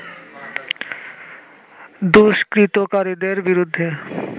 দুষ্কৃতকারীদের বিরুদ্ধে